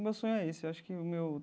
Meu sonho é esse acho que o meu.